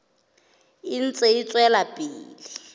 e ntse e tswela pele